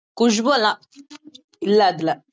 குஷ்பு எல்லாம் இல்லை அதுல